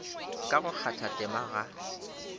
ka ga go kgathatema ga